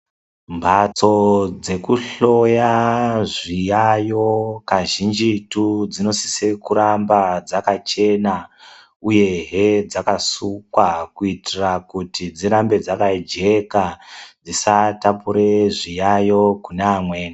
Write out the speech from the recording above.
Mbatso dzekuhloya zviyaiyo kazhinjitu dzinosise kuramba dzakachena ,uyehe dzakasukwa, kuitira kuti dzirambe dzakajeka ,dzisatapure zviyayo kune amweni.